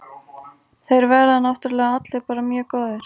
Þeir verða náttúrlega allir bara mjög góðir.